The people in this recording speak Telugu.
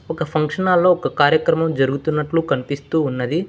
ఒక ఫంక్షన్ హాల్ లో ఒక కార్యక్రమం జరుగుతున్నట్లు కనిపిస్తూ ఉన్నది.